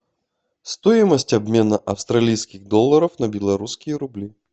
стоимость обмена австралийских долларов на белорусские рубли